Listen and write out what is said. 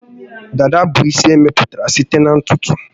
Dada bụ isi emepụtara site na ntutu